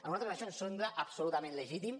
a nosaltres això ens sembla absolutament legítim